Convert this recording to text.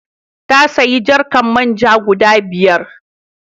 Ta sayi jarkar man ja guda biyar.